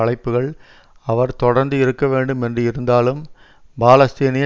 அழைப்புகள் அவர் தொடர்ந்து இருக்க வேண்டும் என்று இருந்தாலும் பாலஸ்தீனிய